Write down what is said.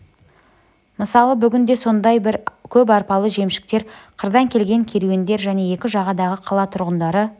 мысалы бүгін де сондай бір көп арбалы жемшіктер қырдан келген керуендер және екі жағадағы қала тұрғындары